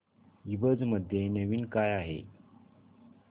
ईबझ मध्ये नवीन काय आहे